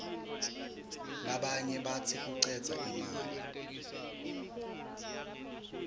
labanye batsi kucedza imali